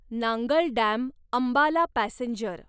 Nangal dam Ambala passenger